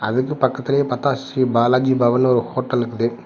அதுக்கு பக்கத்லேயே மகா ஸ்ரீ பாலாஜி பவன்னு ஒரு ஹோட்டல் இக்குது.